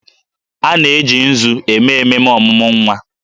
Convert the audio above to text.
A na-eji nzu eme ememe ọmụmụ nwa